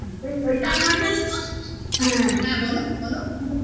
আর কি বলো তো হ্যাঁ বলো বলো